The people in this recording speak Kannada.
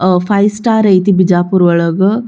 ಅಹ್ ಫೈವ್ ಸ್ಟಾರ್ ಆಯ್ತಿ ಬಿಜಾಪುರ್ ಒಳಗ್.